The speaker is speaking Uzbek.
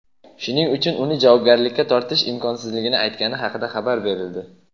shuning uchun uni javobgarlikka tortish imkonsizligini aytgani haqida xabar berildi.